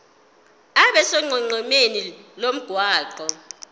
abe sonqenqemeni lomgwaqo